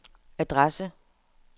adresse